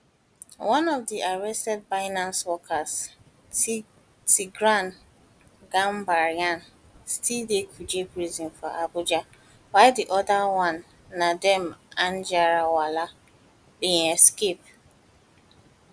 one of di arrested binance workers tigran gambaryan still dey for kuje prison for abuja abuja while di oda one nadeem anjarwalla bin escape